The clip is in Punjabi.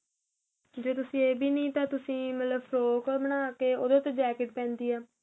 ਜ਼ੇ ਤੁਸੀਂ ਏਹ ਵੀ ਨਹੀਂ ਤਾਂ ਤੁਸੀਂ ਮਤਲਬ ਫਰੋਕ ਬਣਾਕੇ ਉਹਦੇ ਉਥੇ jacket ਪੈਂਦੀ ਏਹ